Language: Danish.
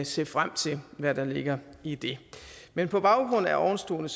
se frem til hvad der ligger i det men på baggrund af ovenstående